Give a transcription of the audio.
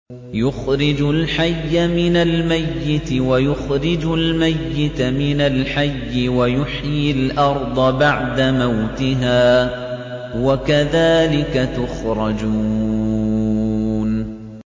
يُخْرِجُ الْحَيَّ مِنَ الْمَيِّتِ وَيُخْرِجُ الْمَيِّتَ مِنَ الْحَيِّ وَيُحْيِي الْأَرْضَ بَعْدَ مَوْتِهَا ۚ وَكَذَٰلِكَ تُخْرَجُونَ